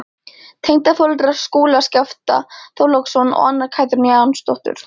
Tengdaforeldrar Skúla, Skafti Þorláksson og Anna Katrín Jónsdóttir.